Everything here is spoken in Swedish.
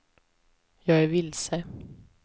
jag är vilse